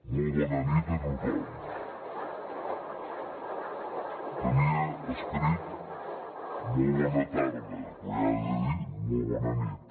molt bona nit a tothom tenia escrit molt bona tarda però ja he de dir molt bona nit